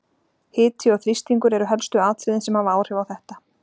Hiti og þrýstingur eru helstu atriðin sem hafa áhrif á þetta.